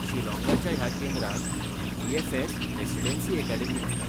शिलॉंगाच्या ह्या केंद्राक B B F S. Residency academy म्हणटात.